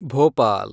Bhopal